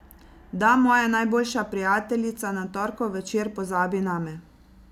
Da moja najboljša prijateljica na torkov večer pozabi name.